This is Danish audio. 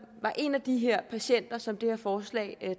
er en af de her patienter som det her forslag